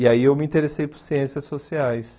E aí eu me interessei por ciências sociais.